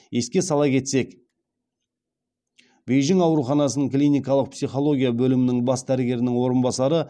еске сала кетсек бейжің ауруханасының клиникалық психология бөлімінің бас дәрігерінің орынбасары